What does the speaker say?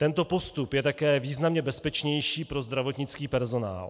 Tento postup je také významně bezpečnější pro zdravotnický personál.